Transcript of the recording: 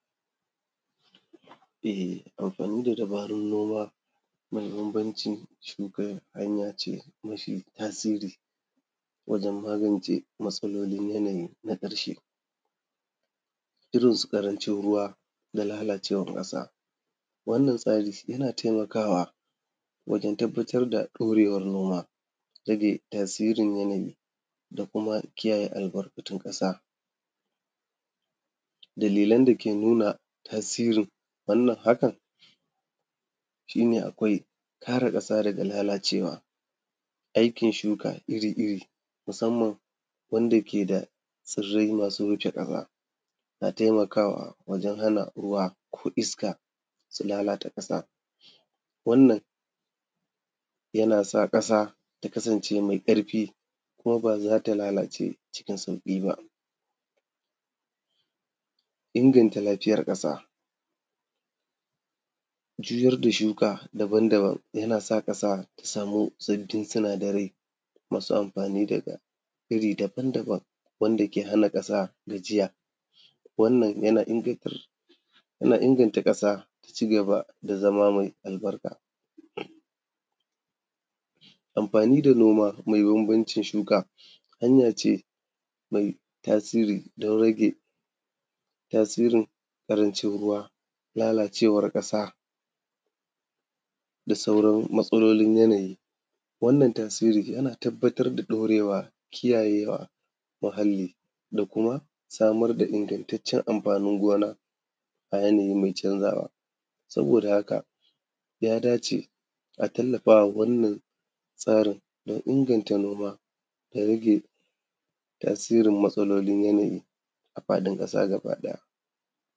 Anfani da dubarun noma da bambancin shuka hanya ce mai tasiri wajen magance matsalolin yanayi na ƙarshe irin su ƙarancin ruwa da lalacewan ƙasa, wannan tsari yana taimakawa wajen tabbatar da ɗaurewan noma da rage tasirin yanayi da kuma kiyaye albarkatun ƙasa. Dalilan dake nuna tasirin wannan hakan shi ne akwai kare ƙasa daga lalacewa, aikin shuka iri-iri musanman wanda ke da tsirrai masu wuce ƙasa na taimakawa wajen hana ruwa, iska su lalata ƙasa wannan yana sa ƙasa ta kasance meai ƙarfi kuma ba za ta lalace ba cikin sauƙi ba., inganta lafiyan ƙasa. Juyar da shuka daban-daban ƙasa-ƙasa ta sama sabbin sinadarai masu anfani dagair daban-daban wanda ke hana ƙasa gajiya wannan yana inganta ƙasa ta cigaba da zama me albarka. Amfani da noma me bambancin shuka hanya ce mai tasiri don rage tasirin ƙarancin ruwa, lalacewan ƙasa da kuma sauran yanayi, wannan tasiri yana tabbatar da ɗaurewa da kiyayewa muahalli da kuma samar da ingantaccen anfanin gona a yanayi mai canzawa saboda haka ya dace a tallafa ma wannan tsarin inganta noma da rage tasirin matsalolin yanayi a faɗin ƙasa gabaɗaya.